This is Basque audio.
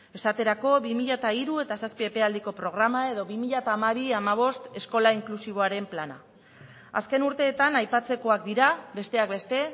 esaterako bi mila hiru bi mila zazpi epealdiko programa edo bi mila hamabi bi mila hamabost eskola inklusiboaren plana azken urteetan aipatzekoak dira besteak beste